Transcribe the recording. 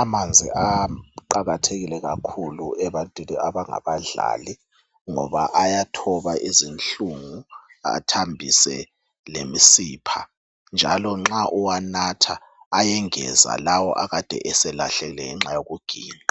.Amanzi aqakathekile kakhulu ebantwini abangabadlali ngoba ayathoba izinhlungu athambise lemisipha .Njalo nxa uwanatha ayengeza lawo akade eselahlekile ngenxa yokuginqa .